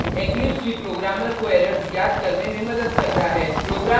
eclipse भी programmer को errors ज्ञात करने में मदद करता है